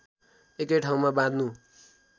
एकै ठाउँमा बाँध्नु